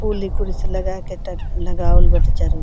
फूल कुर्सी लगा के तब लगावल बाटे चारो --